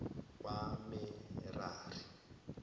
kwamerari